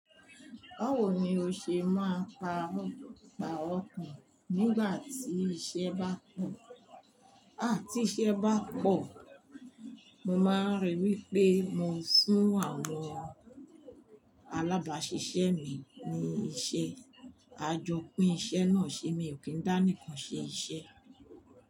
Báwo ni o ṣe máa pa ọ̀mọ̀ àwọn òǹkà nígbà tí iṣẹ́ bá pọ̀? À tí iṣẹ́ bá pọ̀, mo máa ríi wí pé mo sún àwọn alábàáṣiṣẹ́ mi ní iṣẹ́. A jọ pín iṣẹ́ náà ṣe mi ò kí ń dá nìkan ṣe iṣẹ́.